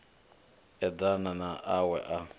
eḓana na a we a